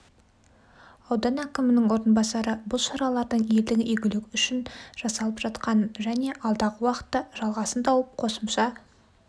аудан әкімінің орынбасары бұл шаралардың елдің игілігі үшін жасалып жатқанын және алдағы уақытта жалғасын тауып қосымша